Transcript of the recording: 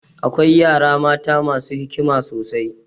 Akwai yara mata masu hikima sosai.